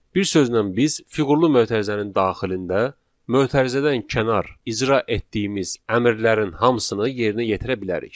Bir sözlə biz fiqurlu mötərizənin daxilində mötərizədən kənar icra etdiyimiz əmrlərin hamısını yerinə yetirə bilərik.